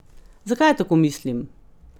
Zakaj tako mislim?